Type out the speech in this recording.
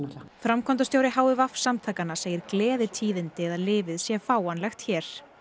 framkvæmdastjóri h i v samtakanna segir gleðitíðindi að lyfið sé fáanlegt hér